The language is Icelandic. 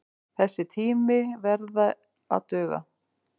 Þessi tími verði að duga.